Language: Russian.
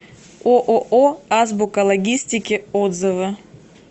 ооо азбука логистики отзывы